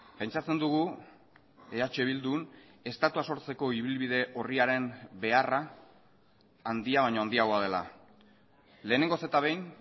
pentsatzen dugu eh bildun estatua sortzeko ibilbide orriaren beharra handia baino handiagoa dela lehenengoz eta behin